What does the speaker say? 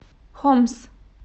хомс